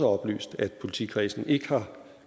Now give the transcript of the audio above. oplyst at politikredsen ikke har